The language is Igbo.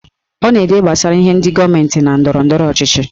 Ọ na-ede gbasara ihe ndị gọọmenti na ndọrọndọrọ ọchịchị